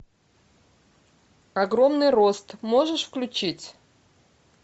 огромный рост можешь включить